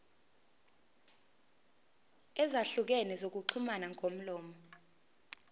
ezahlukene zokuxhumana ngomlomo